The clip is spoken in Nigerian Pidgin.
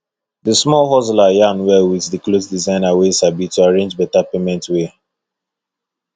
the small hustler yarn well with the cloth designer wey sabi to arrange beta payment way